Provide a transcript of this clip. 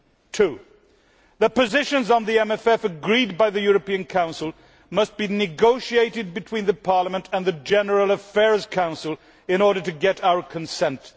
Two, the positions on the MFF agreed by the European Council must be negotiated between Parliament and the General Affairs Council in order to get our consent.